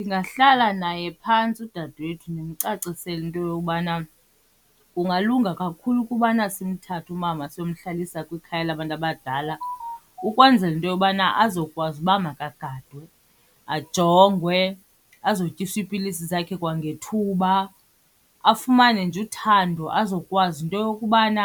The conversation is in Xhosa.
Ndingahlala naye phantsi udadewethu ndimcacisele into yobana kungalunga kakhulu ukubana simthathe umama siyomhlalisa kwikhaya labantu abadala ukwenzela into yobana azokwazi uba makagadwe, ajongwe, azotyiswa iipilisi zakhe kwangethuba. Afumane nje uthando azokwazi into yokubana